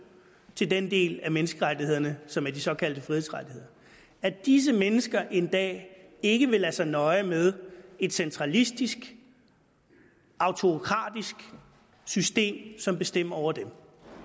til den del af menneskerettighederne som er de såkaldte frihedsrettigheder at disse mennesker en dag ikke vil lade sig nøje med et centralistisk autokratisk system som bestemmer over dem nu